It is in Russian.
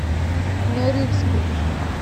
норильску